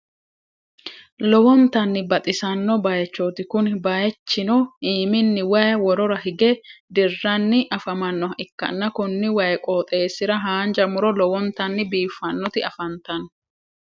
lowonnitanni baxisanno bayichoti kunni bayichinno iiminni wayi worora higge diranni afamannoha ikanna konni wayi qoxeesira haanja muro lowonnitanni biifanoti afanitanno.